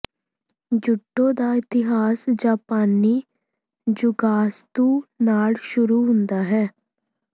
judo ਦਾ ਇਤਿਹਾਸ ਜਾਪਾਨੀ ਜੂਗਾਤਸੂ ਨਾਲ ਸ਼ੁਰੂ ਹੁੰਦਾ ਹੈ